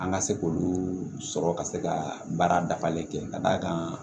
An ka se k'olu sɔrɔ ka se ka baara dafalen kɛ ka d'a kan